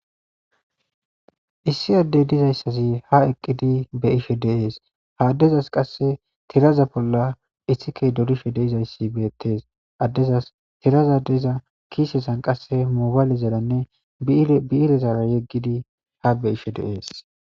issi addey dizayssazi ha eqqidi be ishe dees haaddezas qasse tiraza bolla issikey dodishe deizayssi beettes addezas tiraza deiza kiisesan qase moobaale zeranne biirezara yeggidi ha beishe dees